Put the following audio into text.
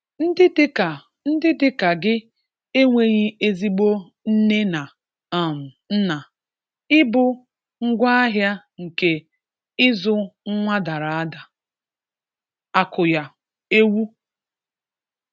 Ndị dị ka Ndị dị ka gị enweghị ezigbo nne na um nna, ị bụ ngwaahịa nke ịzụ nwa dara ada. Àkùyà, ewu.